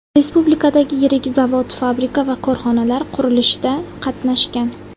Respublikadagi yirik zavod-fabrika va korxonalar qurilishida qatnashgan.